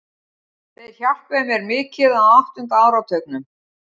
Þeir hjálpuðu mér mikið á áttunda áratugnum.